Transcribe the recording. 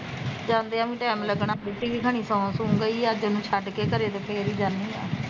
ਜਾਂਦਿਆਂ ਵੀ ਟੈਮ ਲੱਗਣਾ ਤੇ ਰੋਟੀ ਵੀ ਖਾਣੀ ਸੋਂ ਸੁ ਗਈ ਅੱਜ ਉਹਨੂੰ ਛੱਡ ਕੇ ਘਰੇ ਤੇ ਫੇਰ ਈ ਜਾਨੀ ਆ